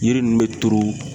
Yiri ninnu be turu